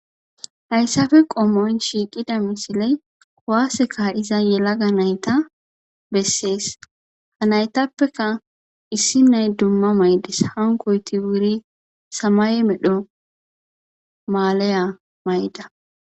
Hayssapoe qommon shiiqida misiley kuwase ka'iza yelaga nayta besses. Ha naytappekka issi nay dumma mayides. Hankkoyti wuri samaye medho maaliya mayida.